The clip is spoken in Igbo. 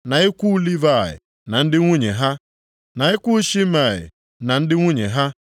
na ikwu Livayị, na ndị nwunye ha, na ikwu Shimei na ndị nwunye ha,